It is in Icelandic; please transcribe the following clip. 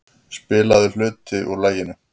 Spilaður hluti úr laginu.